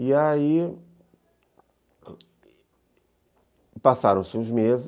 E aí passaram-se os meses.